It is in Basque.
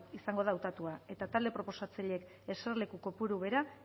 izango da hautatua eta talde proposatzaileek eserleku kopuru bera